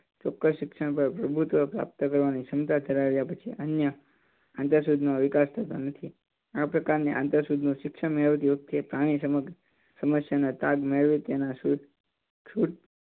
ચોક્કસ શિક્ષણ પર પ્રભુત્વ પ્રાપ્ત કરવાની ક્ષમતા ધરાવે છે અને આંતરસૂજ ની વિકાસ આ પ્રકારની આંતર સૂજ નું શિક્ષણ મેળવતી વખતે પ્રાણી સમક્ષ સમસ્યાનો તાગ મેળવી